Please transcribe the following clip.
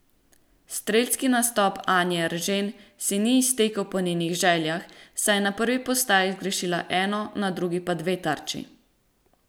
Strelski nastop Anje Eržen se ni iztekel po njenih željah, saj je na prvi postaji zgrešila eno, na drugi pa dve tarči.